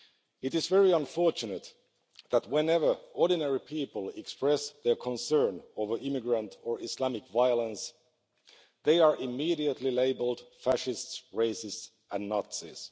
It is very unfortunate that whenever ordinary people express their concern over immigrant or Islamic violence, they are immediately labelled fascists, racists and Nazis.